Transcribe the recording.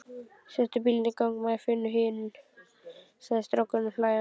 Settu bílinn í gang maður, finnum hinn, sagði strákurinn hlæjandi.